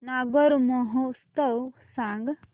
नागौर महोत्सव सांग